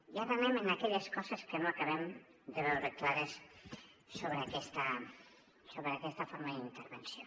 i ara anem a aquelles coses que no acabem de veure clares sobre aquesta forma d’intervenció